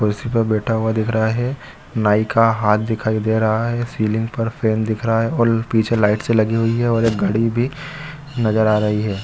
कुर्सी पे बैठा हुआ दिख रहा है नाइ का हाथ दिखाई दे रहा है सीलिंग पर फैन दिख रहा है और पीछे लाइट सी लगी हुई है और एक घड़ी भी नज़र आ रही है।